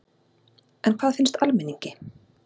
En hvað finnst almenningi?